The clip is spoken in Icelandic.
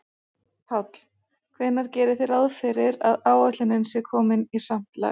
Páll: Hvenær gerið þið ráð fyrir að áætlun sé komin í samt lag?